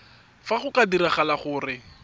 fa go ka diragala gore